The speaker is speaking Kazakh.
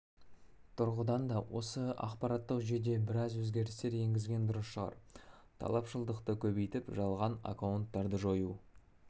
тұрғыдан да осы ақпараттық жүйеде біраз өзгерістер енгізген дұрыс шығар талапшылдықты көбейтіп жалған аккаунттарды жою